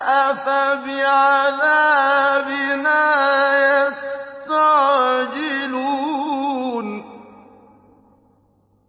أَفَبِعَذَابِنَا يَسْتَعْجِلُونَ